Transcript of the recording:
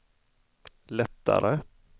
lättare